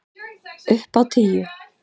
Upp á tíu!